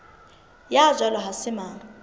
ya jwalo ha se mang